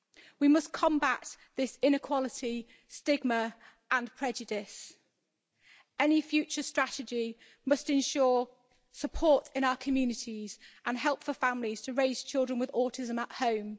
We must combat this inequality stigma and prejudice. Any future strategy must ensure support in our communities and help for families to raise children with autism at home.